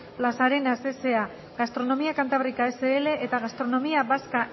las arenas sa gastronomía cantábrica sl eta gastronomía vasca